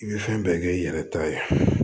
I bɛ fɛn bɛɛ kɛ i yɛrɛ ta ye